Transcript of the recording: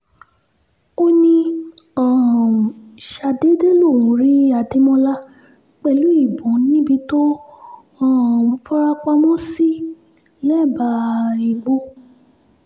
ó ní um ṣàdédé lòún rí adémọlá pẹ̀lú ìbọn níbi tó um fara pamọ́ sí lẹ́bàá igbó